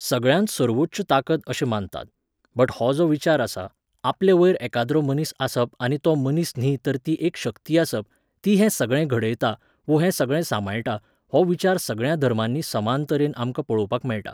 सगळ्यांत सर्वोच्च ताकद अशें मानतात, बट हो जो विचार आसा, आपले वयर एकाद्रो मनीस आसप आनी तो मनीस न्ही तर ती एक शक्ती आसप, ती हें सगळें घडयता वो हें सगळें सांबाळटा हो विचार सगळ्यां धर्मांनी समान तरेन आमकां पळोवपाक मेळटा